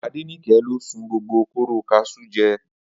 Adenike ló sun gbogbo kóró kaṣú je